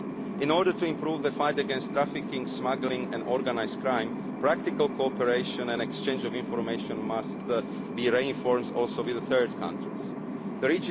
us. In order to improve the fight against trafficking, smuggling and organised crime, practical cooperation and exchange of information must be reinforced with third countries